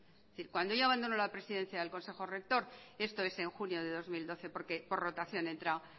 es decir cuando ya abandonó la presidencia de consejo rector esto es en junio del dos mil doce porque por rotación entra